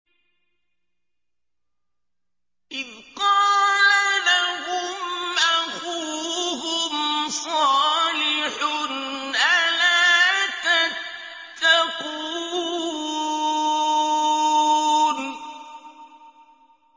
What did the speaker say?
إِذْ قَالَ لَهُمْ أَخُوهُمْ صَالِحٌ أَلَا تَتَّقُونَ